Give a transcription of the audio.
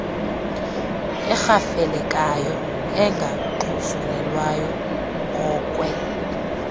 erhafelekayo engaxhuzulelwayo ngokwe